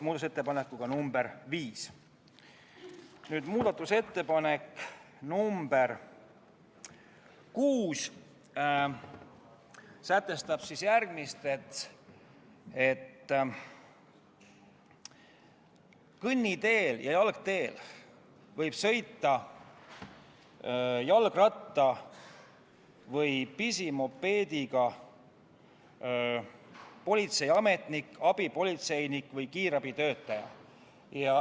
Muudatusettepanek nr 6 sätestab järgmist: kõnniteel ja jalgteel võib sõita jalgratta või pisimopeediga [tööülesandeid täitev politseiametnik, abipolitseinik või kiirabitöötaja.